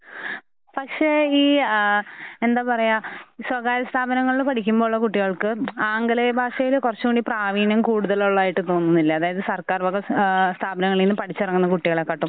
ഹ് പക്ഷേ ഈ ആ എന്താപറയ സ്വകാര്യ സ്ഥാപനങ്ങളിൽ പഠിക്കുമ്പൊ ഉള്ള കുട്ടികൾക്ക് ആംഗലേയ ഭാഷയില് കുറച്ചൂടി പ്രാവീണ്യം കൂടുതലുള്ളതായിട്ടിപ്പം തോന്നുന്നില്ലെ. അതായത് സർക്കാർവക ആഹ് സ്ഥാപനങ്ങളീന്ന് പഠിച്ചിറങ്ങുന്ന കുട്ടികളെകാട്ടും